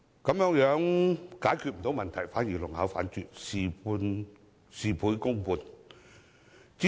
這樣不單沒有解決問題，反而弄巧反拙，事倍功半。